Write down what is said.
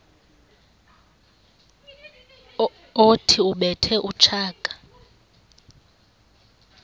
othi ubethe utshaka